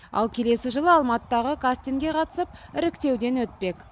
ал келесі жылы алматыдағы кастингке қатысып іріктеуден өтпек